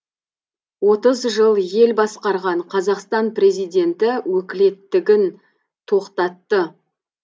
отыз жыл ел басқарған қазақстан президенті өкілеттігін тоқтатты